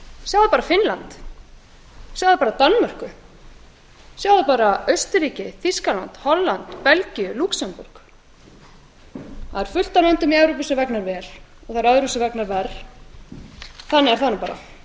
sjáið bara finnland sjáið bara danmörku og sjáið bara austurríki þýskaland holland belgíu lúxemborg fullt af löndum í evrópu vegnar vel og öðrum vegnar verr þannig er það bara